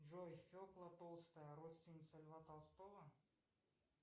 джой фекла толстая родственница льва толстого